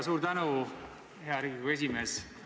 Suur tänu, hea Riigikogu esimees!